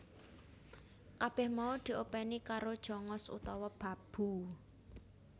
Kabèh mau diopèni karo Jongos utawa babu